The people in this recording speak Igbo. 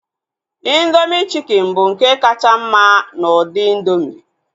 Indoomị chikin bụ nke kacha mma n'ụdị indoomị